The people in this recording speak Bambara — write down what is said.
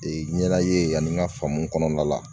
Ee ɲɛna ye ani n ka faamu kɔnɔna la